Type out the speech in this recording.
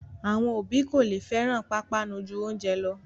Àwọn òbí kò lè fẹ́ràn pápánu ju oúnjẹ lọ